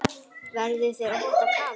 Verður þér óhætt að kafa?